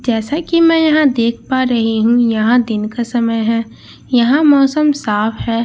जैसा की मैं यहां देख पा रही हूं यहां दिन का समय है यहां मौसम साफ है।